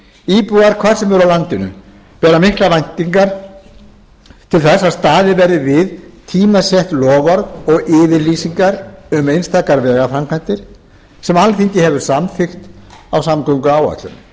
íbúar hvar sem er á landinu bera miklar væntingar til þess að staðið verði við tímasett loforð og yfirlýsingar um einstakar vegaframkvæmdir sem alþingi hefur samþykkt á samgönguáætlun fjármagn